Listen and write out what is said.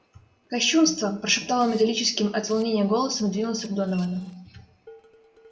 кощунство прошептал он металлическим от волнения голосом и двинулся к доновану